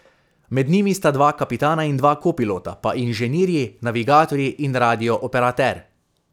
Med njimi sta dva kapitana in dva kopilota, pa inženirji, navigatorji in radio operater.